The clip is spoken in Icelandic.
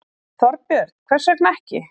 Þorbjörn: Hvers vegna ekki?